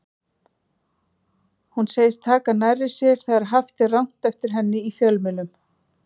Hún segist taka nærri sér þegar haft er rangt eftir henni í fjölmiðlum.